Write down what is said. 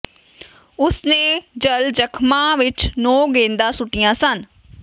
ਉਸ ਨੇ ਜਲ ਜ਼ਖ਼ਮਾਂ ਵਿਚ ਨੌਂ ਗੇਂਦਾਂ ਸੁੱਟੀਆਂ ਸਨ